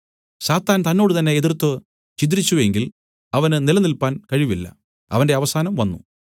സാത്താൻ തന്നോടുതന്നെ എതിർത്ത് ഛിദ്രിച്ചു എങ്കിൽ അവന് നിലനില്പാൻ കഴിവില്ല അവന്റെ അവസാനം വന്നു